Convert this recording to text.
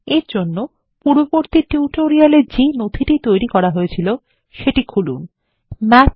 এর জন্য পূর্ববর্তী টিউটোরিয়াল এ যে নথিটি তৈরী করা হয়েছিল সেটি খুলুন MathExample1odt